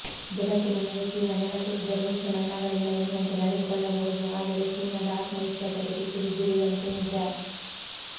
ಜಗತ್ತಿನ ಮುಂದೆ ಚೀನಾ ನೆಲಕ್ಕೆ ಬಿದ್ದರೂ ಮೀಸೆ ಮಣ್ಣಾಗಲಿಲ್ಲ ಎನ್ನುವಂತೆ ನಡೆದುಕೊಳ್ಳಬಹದು ಆದರೆ ಚೀನಾದ ಆತ್ಮವಿಶ್ವಾಸಕ್ಕೆ ಪೆಟ್ಟು ಬಿದ್ದಿರುವುದಂತೂ ನಿಜ